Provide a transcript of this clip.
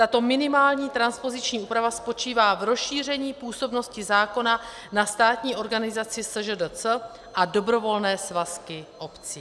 Tato minimální transpoziční úprava spočívá v rozšíření působnosti zákona na státní organizaci SŽDC a dobrovolné svazky obcí.